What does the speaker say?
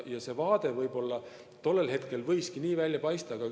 See võis tollel hetkel nii välja paista.